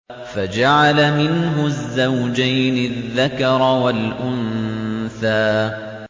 فَجَعَلَ مِنْهُ الزَّوْجَيْنِ الذَّكَرَ وَالْأُنثَىٰ